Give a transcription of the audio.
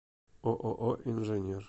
ооо инженер